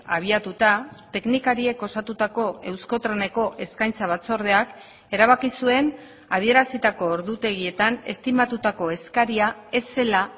abiatuta teknikariek osatutako euskotreneko eskaintza batzordeak erabaki zuen adierazitako ordutegietan estimatutako eskaria ez zela